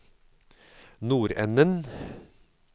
nordenden